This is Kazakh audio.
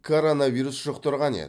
коронавирус жұқтырған еді